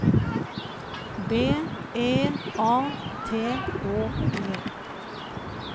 B E A T H E